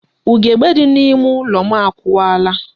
Ugebe dị n'ime ụlọ akụwaala.